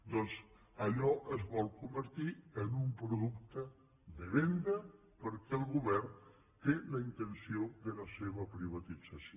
doncs allò es vol convertir en un producte de venda perquè el govern té la intenció de la seva privatització